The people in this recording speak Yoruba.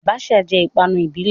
Abacha jẹ́ ìpanu ìbílẹ̀.